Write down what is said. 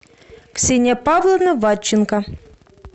ксения павловна вадченко